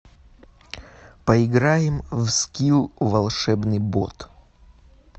поиграем в скилл волшебный бот